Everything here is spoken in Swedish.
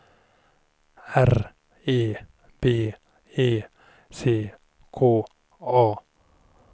R E B E C K A